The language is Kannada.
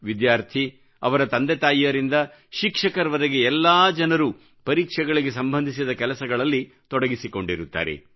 ವಿದ್ಯಾರ್ಥಿ ಅವರ ತಂದೆ ತಾಯಿಯರಿಂದ ಶಿಕ್ಷಕರವರೆಗೆ ಎಲ್ಲಾ ಜನರೂ ಪರೀಕ್ಷೆಗಳಿಗೆ ಸಂಬಂಧಿಸಿದ ಕೆಲಸಗಳಲ್ಲಿ ತೊಡಗಿಸಿಕೊಂಡಿರುತ್ತಾರೆ